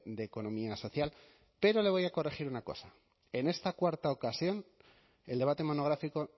de economía social pero le voy a corregir una cosa en esta cuarta ocasión el debate monográfico